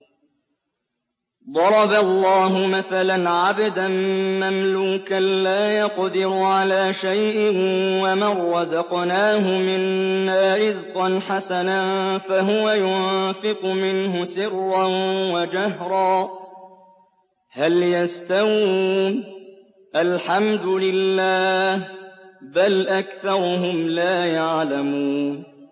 ۞ ضَرَبَ اللَّهُ مَثَلًا عَبْدًا مَّمْلُوكًا لَّا يَقْدِرُ عَلَىٰ شَيْءٍ وَمَن رَّزَقْنَاهُ مِنَّا رِزْقًا حَسَنًا فَهُوَ يُنفِقُ مِنْهُ سِرًّا وَجَهْرًا ۖ هَلْ يَسْتَوُونَ ۚ الْحَمْدُ لِلَّهِ ۚ بَلْ أَكْثَرُهُمْ لَا يَعْلَمُونَ